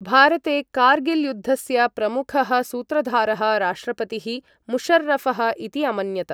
भारते कार्गिल् युद्धस्य प्रमुखः सूत्रधारः राष्ट्रपतिः मुशर्रफः इति अमन्यत।